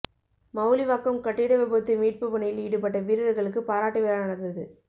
மவுலிவாக்கம் கட்டிட விபத்து மீட்பு பணியில் ஈடுபட்ட வீரர்களுக்கு பாராட்டு விழா நடந்தது